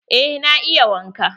Eh na iya waƙa.